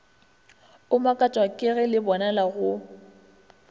o makatšwa kege lebonala go